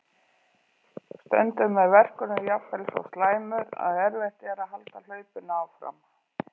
Sextán leikir eru á dagskrá þegar riðlakeppni Evrópukeppni félagsliða hefst í kvöld.